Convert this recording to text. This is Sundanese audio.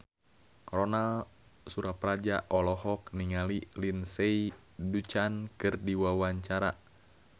Ronal Surapradja olohok ningali Lindsay Ducan keur diwawancara